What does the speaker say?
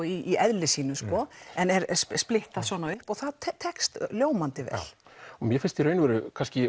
í eðli sínu sko en er splittað svona upp það tekst ljómandi vel mér finnst í raun og veru